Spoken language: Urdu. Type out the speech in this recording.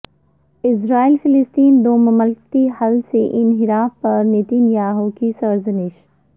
اسرائیل فلسطین دو مملکتی حل سے انحراف پر نتن یاہو کی سرزنش